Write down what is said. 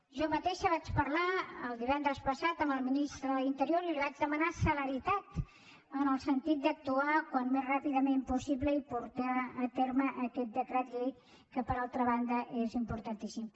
jo mateixa vaig parlar divendres passat amb el ministre de l’interior i li vaig demanar celeritat en el sentit d’actuar al més ràpidament possible i portar a terme aquest decret llei que per altra banda és importantíssim